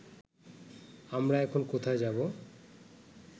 আমরা এখন কোথায় যাব